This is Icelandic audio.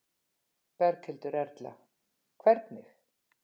Berghildur Erla: Hvernig?